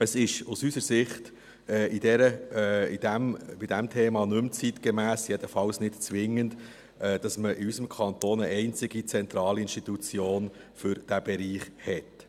Es ist aus unserer Sicht bei diesem Thema nicht mehr zeitgemäss, jedenfalls nicht zwingend, dass man in unserem Kanton eine einzige zentrale Institution für diesen Bereich hat.